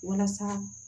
Walasa